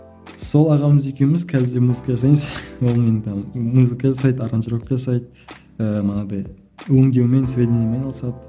сол ағамыз екеуміз қазірде музыка жасаймыз музыка жасайды аранжировка жасайды ыыы манағыдай өңдеумен сведениемен айналысады